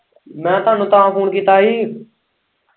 ਮੈਂ ਤੁਹਾਨੂੰ ਤਾਂ ਫੂਨ ਕੀਤਾ ਹੀ।